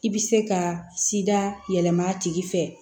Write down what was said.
I bɛ se ka sida yɛlɛma a tigi fɛ